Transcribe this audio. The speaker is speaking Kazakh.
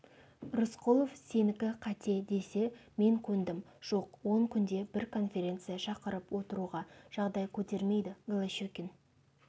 рысқұлов сенікі қате десе мен көндім жоқ он күнде бір конференция шақырып отыруға жағдай көтермейді голощекин